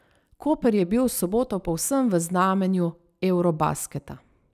Koper je bil v soboto povsem v znamenju eurobasketa.